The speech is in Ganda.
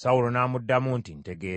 Sawulo n’amuddamu nti, “Ntegeeza.”